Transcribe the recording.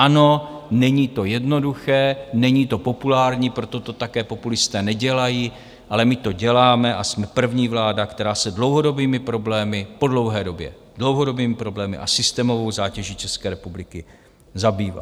Ano, není to jednoduché, není to populární, proto to také populisté nedělají, ale my to děláme a jsme první vláda, která se dlouhodobými problémy - po dlouhé době - dlouhodobými problémy a systémovou zátěží České republiky zabývá.